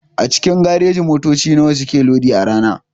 A cikin gareji motoci nawa suke lodi a rana?